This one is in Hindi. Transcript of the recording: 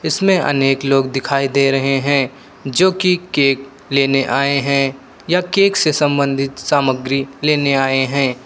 इसमें अनेक लोग दिखाई दे रहे हैं जो कि केक लेने आए हैं या केक से संबंधित सामग्री लेने आए हैं।